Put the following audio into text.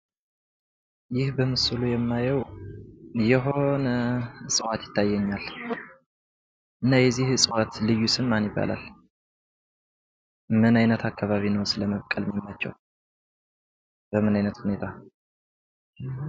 ይህ በምስሉ ላይ የማየው የሆነ እጽዋት ይታየኛል። እና የዚህ እጽዋት ልዩ ስም ማን ይባላል? ምን አካበቢ ነው ለማብቀል የሚመቸው? በምን አይነት ሁኔታ?